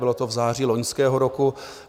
Bylo to v září loňského roku.